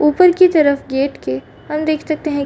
ऊपर की तरफ गेट के हम देख सकते हैं।